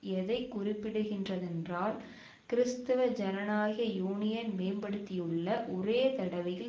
எதை குறிப்பிடுகின்றதென்றால் கிறிஸ்தவ ஜனநாயக யூனியன் மேம்படுத்தியுள்ள ஒரே தடவையில்